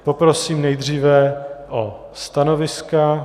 Poprosím nejdříve o stanoviska.